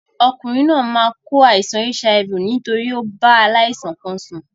Okùnrin náà máa kó àìsan HIV nítorí o bá aláìsàn kan sùn